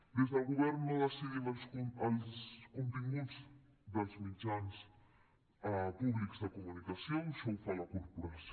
des del govern no decidim els continguts dels mitjans públics de comunicació això ho fa la corporació